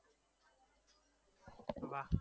વાહ